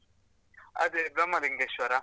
ಅದೇ ಬ್ರಹ್ಮಲಿಂಗೇಶ್ವರ.